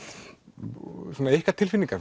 ykkar tilfinningar